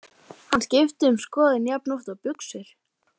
Hann skiptir um skoðun jafnoft og buxur.